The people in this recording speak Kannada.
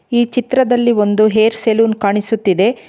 ಈ ಚಿತ್ರದಲ್ಲಿ ಒಂದು ಹೇರ್ ಸಲೂನ್ ಕಾಣಿಸುತ್ತಿದೆ.